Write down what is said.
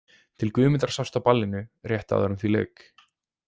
Til Guðmundar sást á ballinu rétt áður en því lauk.